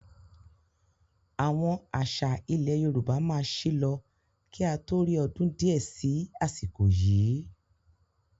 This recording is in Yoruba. Àwọn àṣà ilẹ̀ Yorùbá máa sì lọ kí a tó rí ọdún di ẹ sì àsìkò yii